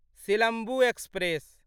Silambu express